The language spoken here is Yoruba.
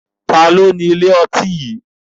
Taàní ó ní ilé ọtí yìí?